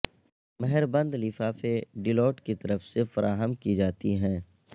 مہربند لفافے ڈیلیوٹ کی طرف سے فراہم کی جاتی ہیں